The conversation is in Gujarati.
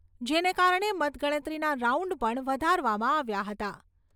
જેને કારણે મતગણતરીના રાઉન્ડ પણ વધારવામાં આવ્યા હતા.